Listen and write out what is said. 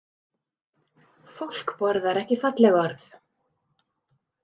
Fólk borðar ekki falleg orð